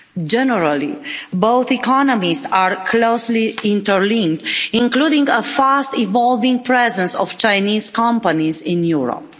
Generally, both economies are closely interlinked, including a fast evolving presence of Chinese companies in Europe.